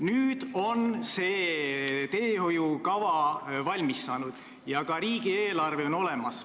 Nüüd on see teehoiukava valmis saanud ja ka riigieelarve on olemas.